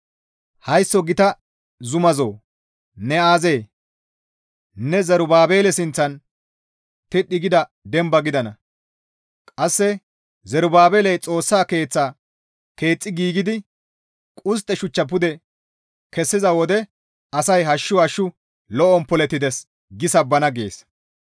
«Haysso gita zumazo ne aazee? Ne Zerubaabele sinththan tidhdhi gida demba gidana; qasse Zerubaabeley Xoossa Keeththa keexxi giigidi qustte shuchcha pude kessiza wode asay, ‹Hashshu hashshu lo7on polettides› gi sabbana» gees.